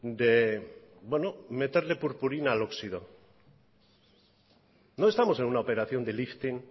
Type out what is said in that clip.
de meterle purpurina al óxido no estamos en una operación de lifting